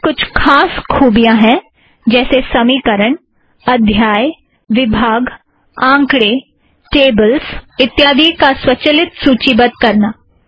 LaTeX में कुछ खास खुबियाँ हैं जैसे समीकरण अध्याय विभाग आँकड़े टेबल्स इत्यादी को स्वचलित सुची बद्ध करना